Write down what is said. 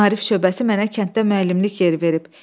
Maarif şöbəsi mənə kənddə müəllimlik yeri verib.